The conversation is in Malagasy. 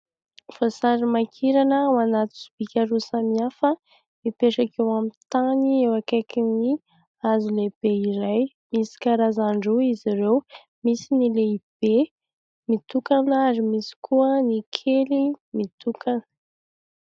Voasary makirana ao anaty sobika roa samihafa, mipetraka eo amin'ny tany eo akaikin'ny hazo lehibe iray. Misy karazany roa izy ireo, misy ny lehibe mitokana ary misy koa ny kely mitokana.